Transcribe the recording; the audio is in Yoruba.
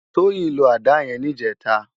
Toyin ló àdá yèn nijètá